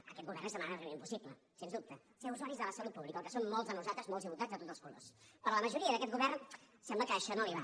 a aquest govern és demanar li un impossible sens dubte ser usuaris de la salut pública el que som molts de nosaltres molts diputats i de tots els colors però a la majoria d’aquest govern sembla que això no li va